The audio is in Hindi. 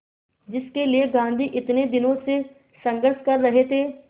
जिसके लिए गांधी इतने दिनों से संघर्ष कर रहे थे